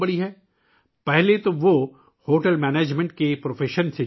اس سے قبل وہ ہوٹل مینجمنٹ کے پیشے سے وابستہ تھے